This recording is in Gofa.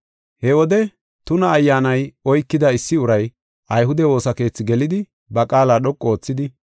He wode tuna ayyaanay oykida issi uray ayhude woosa keethi gelidi ba qaala dhoqu oothidi,